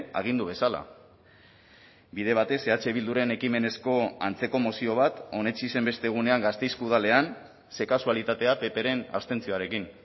agindu bezala bide batez eh bilduren ekimenezko antzeko mozio bat onetsi zen beste egunean gasteizko udalean ze kasualitatea ppren abstentzioarekin